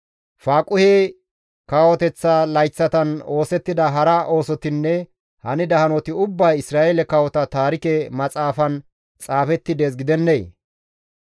Faaquhe kawoteththa layththatan oosettida hara oosotinne hanida hanoti ubbay Isra7eele kawota taarike maxaafan xaafetti dees gidennee?